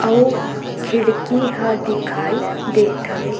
अऊ खिड़की ह दिखाई देत हवे।